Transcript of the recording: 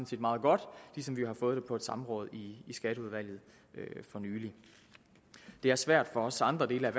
set meget godt ligesom vi jo har fået det på et samråd i skatteudvalget for nylig det er svært for også andre dele af